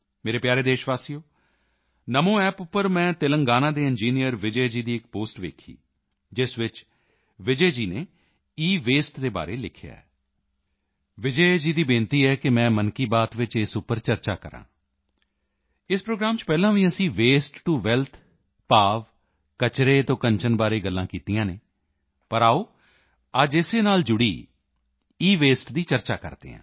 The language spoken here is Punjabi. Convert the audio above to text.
ਮੇਰੇ ਪਿਆਰੇ ਦੇਸ਼ਵਾਸੀਓ NamoApp ਉੱਪਰ ਮੈਂ ਤੇਲੰਗਾਨਾ ਦੇ ਇੰਜੀਨੀਅਰ ਵਿਜੈ ਜੀ ਦੀ ਇੱਕ ਪੋਸਟ ਦੇਖੀ ਇਸ ਵਿੱਚ ਵਿਜੈ ਜੀ ਨੇ ਈਵੇਸਟ ਦੇ ਬਾਰੇ ਲਿਖਿਆ ਹੈ ਵਿਜੈ ਜੀ ਦੀ ਬੇਨਤੀ ਹੈ ਕਿ ਮੈਂ ਮਨ ਕੀ ਬਾਤ ਚ ਇਸ ਉੱਪਰ ਚਰਚਾ ਕਰਾਂ ਇਸ ਪ੍ਰੋਗਰਾਮ ਚ ਪਹਿਲਾਂ ਵੀ ਅਸੀਂ ਵਸਤੇ ਟੋ ਵੈਲਥ ਭਾਵ ਕਚਰੇ ਤੋਂ ਕੰਚਨ ਬਾਰੇ ਗੱਲਾਂ ਕੀਤੀਆਂ ਹਨ ਪਰ ਆਓ ਅੱਜ ਇਸੇ ਨਾਲ ਜੁੜੀ ਈਵੇਸਟ ਦੀ ਚਰਚਾ ਕਰਦੇ ਹਾਂ